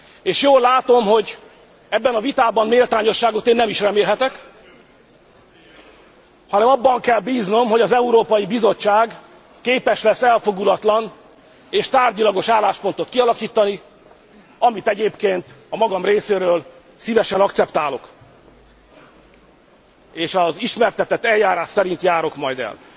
És jól látom, hogy ebben a vitában méltányosságot én nem is remélhetek, hanem abban kell bíznom, hogy az Európai Bizottság képes lesz elfogulatlan és tárgyilagos álláspontot kialakítani, amit egyébként a magam részéről szívesen akceptálok, és az ismertetett eljárás szerint járok majd el.